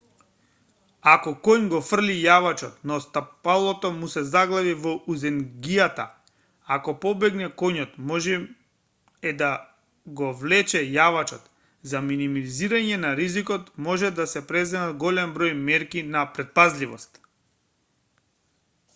ако коњ го фрли јавачот но стапалото му се заглави во узенгијата ако побегне коњот можно е да го влече јавачот за минимизирање на ризикот може да се преземат голем број мерки на претпазливост